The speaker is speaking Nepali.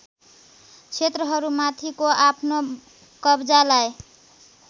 क्षेत्रहरूमाथिको आफ्नो कब्जालाई